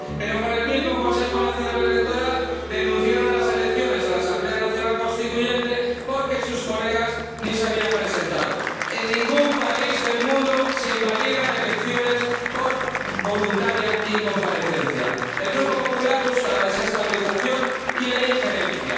Pero con el mismo Consejo Nacional Electoral denunciaron las elecciones a la Asamblea Nacional Constituyente porque sus colegas ni se habían presentado. En ningún país del mundo se invalidan elecciones por voluntaria incomparecencia. El Grupo del PPE busca la desestabilización y la injerencia